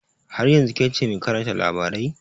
Har yanzun kece mai karanta labarai?